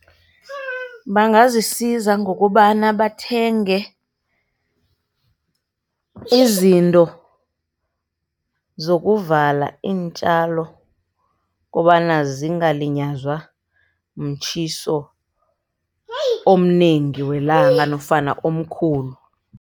Bangazisiza ngokobana bathenge izinto zokuvala iintjalo, kobana zingalinyazwa mtjhiso omnengi welanga, nofana omkhulu.